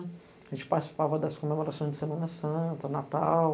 A gente participava das comemorações de Semana Santa, Natal.